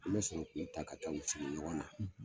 An bɛ sɔrɔ k'u ta, ka taa u sigi ɲɔgɔnna ,